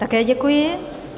Také děkuji.